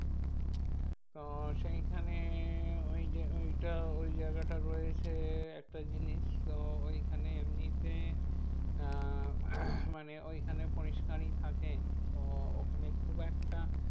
তো সেইখানে ওই যে ওইটা ওই জায়গাটা রয়েছে একটা জিনিস। তো ওইখানে এমনিতে আহ মানে ওইখানে পরিষ্কারই থাকে। তো ওখানে খুব একটা